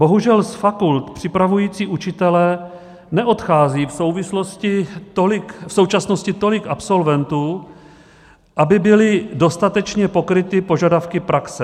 Bohužel z fakult připravujících učitele neodchází v současnosti tolik absolventů, aby byly dostatečně pokryty požadavky praxe.